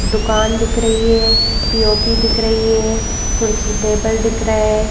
दुकान दिख रही है पी_ओ_पी दिख रही है कुर्सी टेबल दिख रहा है।